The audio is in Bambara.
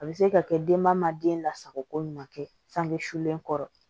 A bɛ se ka kɛ denba ma den lasago ko ɲuman kɛ sangule kɔrɔ